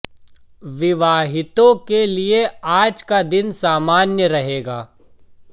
विवाहितों के लिए आज का दिन सामान्य रहेगा